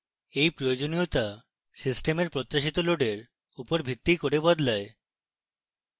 এই প্রয়োজনীয়তা সিস্টেমের প্রত্যাশিত লোডের উপর ভিত্তি করে বদলায়